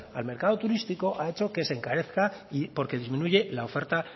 al mercado turístico ha hecho que se encarezca porque disminuye la oferta